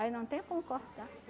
Aí não tem como cortar.